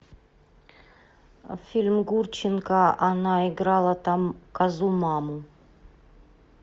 фильм гурченко она играла там козу маму